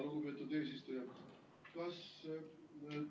Lugupeetud eesistuja!